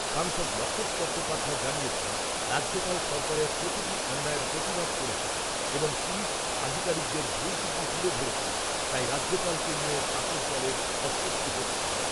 সাংসদ লকেট চট্টোপাধ্যায় জানিয়েছেন, রাজ্যপাল সরকারের প্রতিটি অন্যায়ের প্রতিবাদ করেছেন এবং পুলিশ আধিকারিকদের ভুল ত্রুটি তুলে ধরেছেন, তাই রাজ্যপালকে নিয়ে শাসক দলের অস্বস্তি হচ্ছে।